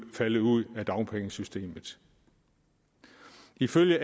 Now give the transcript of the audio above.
falde ud af dagpengesystemet ifølge